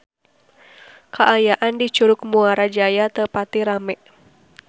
Kaayaan di Curug Muara Jaya teu pati rame